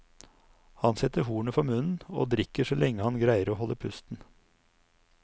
Han setter hornet for munnen, og drikker så lenge han greier å holde pusten.